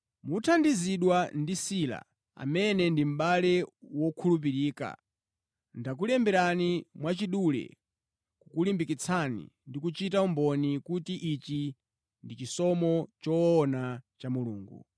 Mothandizidwa ndi Sila, amene ndi mʼbale wokhulupirika, ndakulemberani mwachidule kukulimbikitsani ndi kuchita umboni kuti ichi ndi chisomo choona cha Mulungu.